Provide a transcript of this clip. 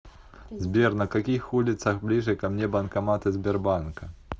сбер на каких улицах ближе ко мне банкоматы сбербанка